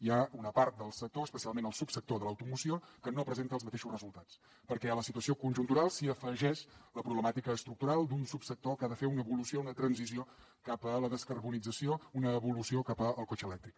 hi ha una part del sector especialment el subsector de l’automoció que no presenta els mateixos resultats perquè a la situació conjuntural s’hi afegeix la problemàtica estructural d’un subsector que ha de fer ulna evolució una transició cap a la descarbonització una evolució cap al cotxe elèctric